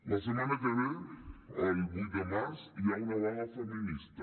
la setmana que ve el vuit de març hi ha una vaga feminista